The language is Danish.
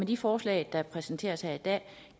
de forslag der præsenteres her i dag